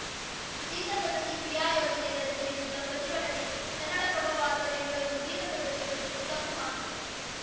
ಜೀತಪದ್ಧತಿ ಕ್ರಿಯಾ ಯೋಜನೆ ವರದಿ ವಿರುದ್ಧ ಪ್ರತಿಭಟನೆ ಕನ್ನಡಪ್ರಭ ವಾರ್ತೆ ಬೆಂಗಳೂರು ಜೀತ ಪದ್ದತಿ ಕುರಿತು ತಪ್ಪು ಮಾಹಿತಿ